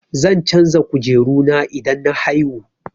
Zan canja kujeru na idan na haihu.